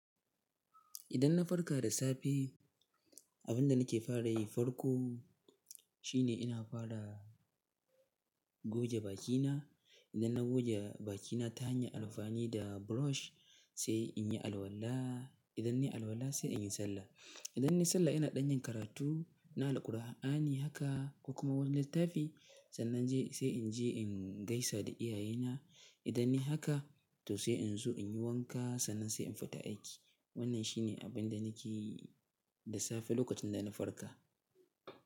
Idan na farka da safe, abin da nake fara yi farko shine ina fara goge bakina. Idan na goge bakina ta hanyar amfani da brush sai in yi alwala. Idan na yi alwala sai in yi sallah. Idan na yi sallah ina ɗan yin karatu, na Alƙur'ani haka ko kuma wani littafi. Sannan je sai in je in gaisa da iyayena. Idan na yi haka to sai in zo in yi wanka sannan sai in fita aiki. Wannan shi ne abin da nakeyi da safe lokacin da na farka.